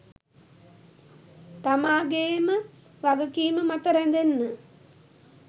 තමාගේම වගකීම මත රැඳෙන